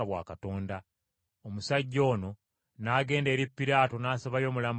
Omusajja ono n’agenda eri Piraato n’asabayo omulambo gwa Yesu.